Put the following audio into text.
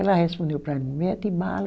Ela respondeu para mim, mete bala.